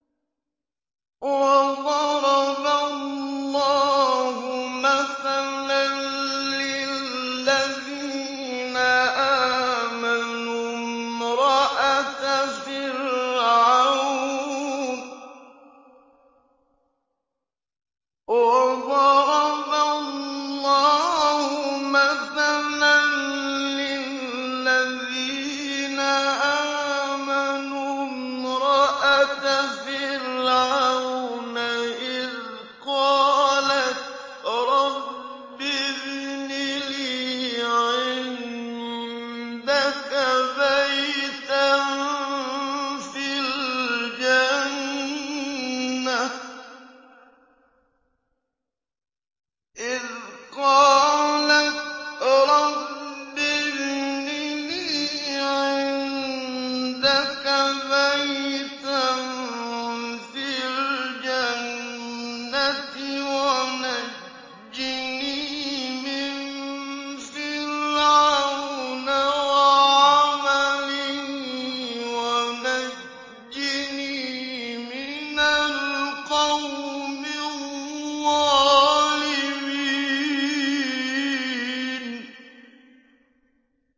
وَضَرَبَ اللَّهُ مَثَلًا لِّلَّذِينَ آمَنُوا امْرَأَتَ فِرْعَوْنَ إِذْ قَالَتْ رَبِّ ابْنِ لِي عِندَكَ بَيْتًا فِي الْجَنَّةِ وَنَجِّنِي مِن فِرْعَوْنَ وَعَمَلِهِ وَنَجِّنِي مِنَ الْقَوْمِ الظَّالِمِينَ